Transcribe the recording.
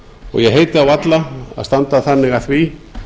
og ég hika varla að standa þannig að því